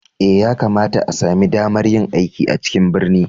A, ya kamata a sami damar yin aiki a cikin birni